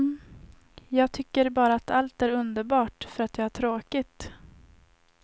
Jag tycker bara att allt är underbart för att jag har tråkigt.